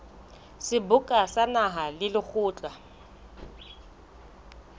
seboka sa naha le lekgotla